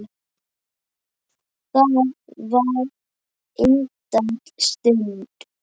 Það var indæl stund.